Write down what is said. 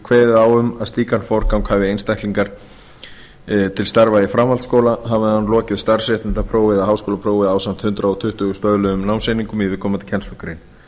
kveðið á um að slíkan forgang hafi einstaklingur til starfa í framhaldsskóla hafi hann lokið starfsréttindaprófi eða háskólaprófi ásamt hundrað tuttugu stöðluðum námseiningum í viðkomandi kennslugrein